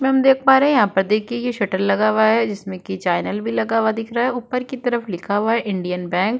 इसमें हम देख पा रहे हैं यहां पर देखिए यह शटर लगा हुआ है जिसमें की चैनल भी लगा हुआ दिख रहा है ऊपर की तरफ लिखा हुआ है इंडियन बैंक ।